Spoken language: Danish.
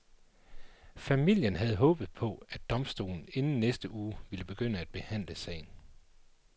Familien havde håbet på, at domstolen inden næste uge ville begynde at behandle sagen.